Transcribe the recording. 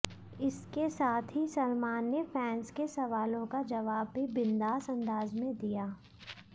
इसके साथ ही सलमान ने फैंस के सवालों का जवाब भी बिंदास अंदाज में दिया